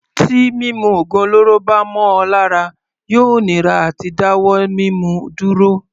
Tí mímu ògùn olóró bá mọ ọ lára yóò nira àti dá wọ́ mímu dúró.